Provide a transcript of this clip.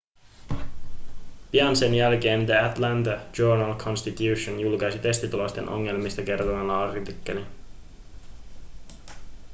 pian sen jälkeen the atlanta journal-constitution julkaisi testitulosten ongelmista kertovan artikkelin